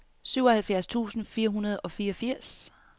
syvoghalvfjerds tusind fire hundrede og fireogfirs